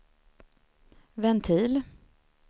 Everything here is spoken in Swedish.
ventil